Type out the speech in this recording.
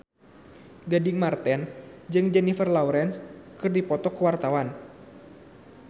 Gading Marten jeung Jennifer Lawrence keur dipoto ku wartawan